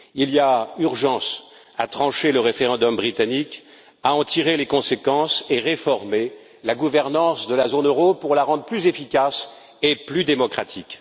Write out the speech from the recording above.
Il y a urgence à trancher le référendum britannique, à en tirer les conséquences et à réformer la gouvernance de la zone euro pour la rendre plus efficace et plus démocratique.